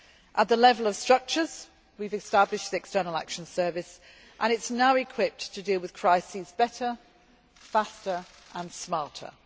At the level of structures, we have established the External Action Service and it is now equipped to deal with crises better, faster and smarter.